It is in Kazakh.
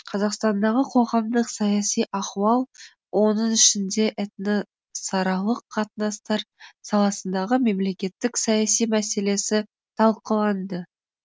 қазақстандағы қоғамдық саяси ахуал оның ішінде этносаралық қатынастар саласындағы мемлекеттік саяси мәселесі талқыланды